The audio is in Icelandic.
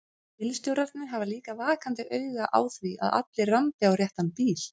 Bílstjórarnir hafa líka vakandi auga á því að allir rambi á réttan bíl.